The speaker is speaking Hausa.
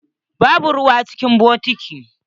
Babu ruwa cikin bokitin.